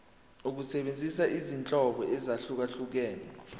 ukusebenzisa izinhlobo ezahlukehlukene